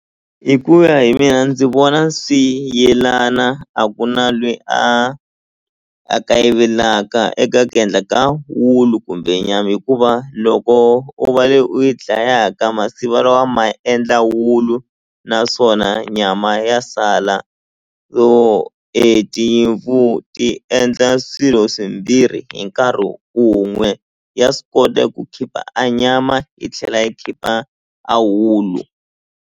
Hi ku ya hi mina ndzi vona swi yelana a ku na lweyi a a kayivelaka eka ku endla ka wulu kumbe nyama hikuva loko u va le u yi dlayaka wa ma endla wulu naswona nyama ya sala so e tinyimpfu ti endla swilo swimbirhi hi nkarhi wun'we ya swi kota ku khipha a nyama yi tlhela yi khipha a wulu.